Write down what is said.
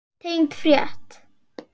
Tengd frétt